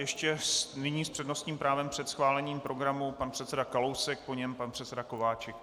Ještě nyní s přednostním právem před schválením programu pan předseda Kalousek, po něm pan předseda Kováčik.